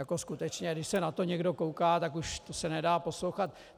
Jako skutečně, když se na to někdo kouká, tak už se to nedá poslouchat.